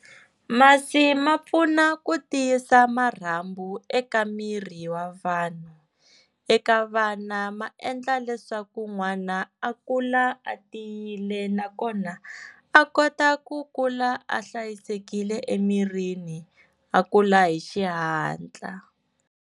Masi ma pfuna ku tiyisa marhambu eka miri wa vanhu, eka vana maendla leswaku n'wana a kula a tiyile nakona a kota ku kula a hlayisekile emirini a kula hi xihatla.